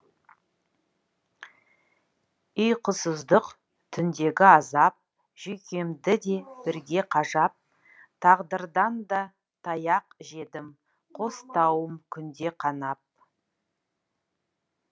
ұйқысыздық түндегі азап жүйкемді де бірге қажап тағдырдан да таяқ жедім қос танауым күнде қанап